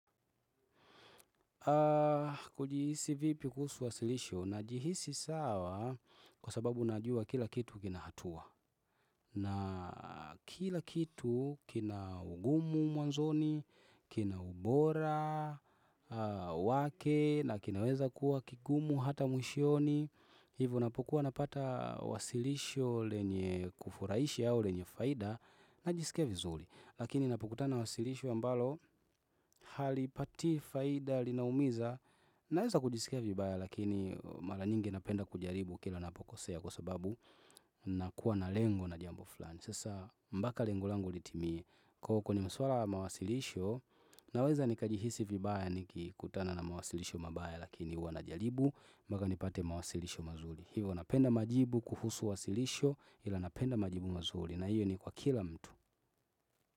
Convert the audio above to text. Kujihisi vipi kusu wasilisho najihisi sawa kwa sababu najua kila kitu kina hatua na kila kitu kina ugumu mwanzoni, kina ubora, wake na kinaweza kuwa kigumu hata mwishoni hivo napokuwa napata wasilisho lenye kufurahisha au lenye faida najisikia vizuri Lakini napokutana wasilisho ambalo halipatii faida linaumiza Naweza kujisikia vibaya lakini mara nyingi napenda kujaribu kila napokosea kwa sababu nakuwa na lengo na jambo flani Sasa mbaka lengo langu litimie kwa huko ni maswala wa mawasilisho naweza nikajihisi vibaya nikikutana na mawasilisho mabaya lakini huwa najaribu mpaka nipate mawasilisho mazuri hivo napenda majibu kuhusu wasilisho ila napenda majibu mazuri na hiyo ni kwa kila mtu.